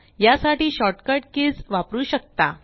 या साठी shortcut keys वापरू शकता